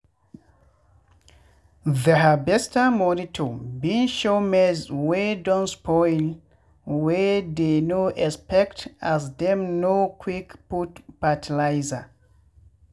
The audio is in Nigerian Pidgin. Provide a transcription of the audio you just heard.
the harvester monitor been show maize wey don spoil wey dey no expect as dem no quick put fertilizer.